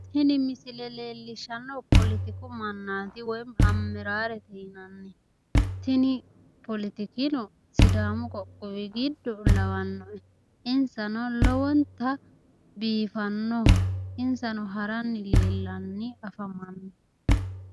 Tini misile leellishshannohu poletiku mannaati woy ammaraarete yinanni tini poletikino sidaamu qoqqowi giddo lawanno insano lowonta biifanno insano haranni leellanni afamanno.